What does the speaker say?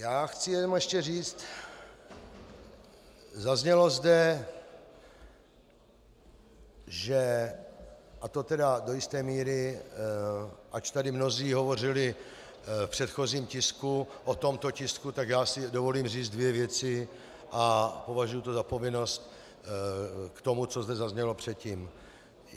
Já chci jenom ještě říct, zaznělo zde, že, a to tedy do jisté míry, ač tady mnozí hovořili v předchozím tisku o tomto tisku, tak já si dovolím říct dvě věci, a považuji to za povinnost, k tomu, co zde zaznělo předtím.